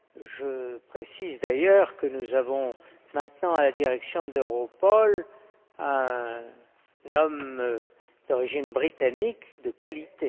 Je précise, d'ailleurs, que nous avons maintenant à la direction d'Europol un homme d'origine britannique de qualité.